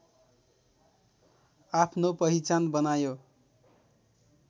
आफ्नो पहिचान बनायो